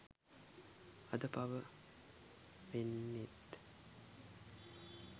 අද පව වෙන්නෙත්